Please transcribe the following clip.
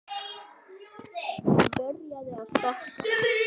Hann byrjaði að stokka.